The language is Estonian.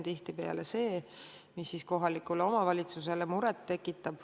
Tihtipeale tekitab just see kohalikule omavalitsusele muret.